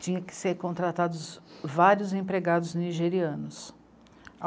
Tinha que ser contratados vários empregados nigerianos.